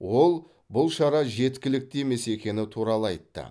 ол бұл шара жеткілікті емес екені туралы айтты